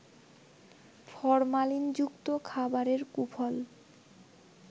ফরমালিনযুক্ত খাবারের কুফল